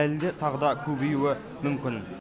әлі де тағы да көбеюі мүмкін